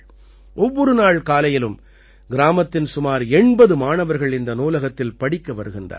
ஒவ்வொரு நாள் காலையிலும் கிராமத்தின் சுமார் 80 மாணவர்கள் இந்த நூலகத்தில் படிக்க வருகின்றார்கள்